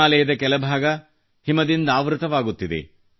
ಹಿಮಾಲಯದ ಕೆಲ ಭಾಗ ಹಿಮದಿಂದಾವೃತವಾಗುತ್ತಿದೆ